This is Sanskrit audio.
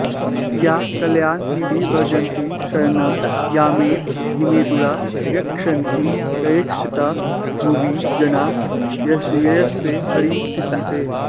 या कल्याणनिधिर्व्रजन्ति शरणं यामेव धीमेदुरा यक्षेशन्ति ययेक्षिता भुवि जना यस्यै हरिस्तिष्ठते